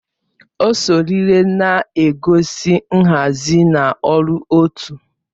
Ọsọ rịlè na-egosi nhazi na ọrụ otu